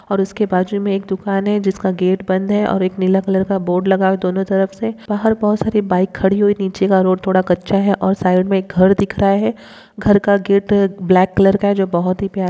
और उसके बाजू मे एक दुकान है जिसका गेट बंद है और एक नीला कलर का बोर्ड लगा हुआ है दोनों तरफ से बाहर बहुत सारी बाइक खड़ी हुई है नीचे का रोड थोड़ा कच्चा है साइड में एक घर दिख रहा है घर का गेट है ब्लैक कलर है जो बहुत ही प्यारा--